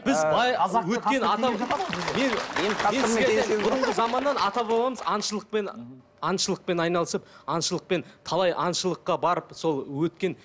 біз бай бұрынғы заманнан ата бабамыз аңшылықпен аңшылықпен айналысып аңшылықпен талай аңшылыққа барып сол өткен